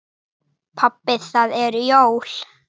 Pabbi það eru jól.